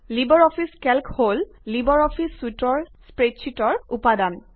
Libre office Calc হল LibreOffice চুইটৰ spreadsheet উপাদান